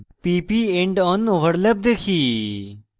pp endon overlap দেখি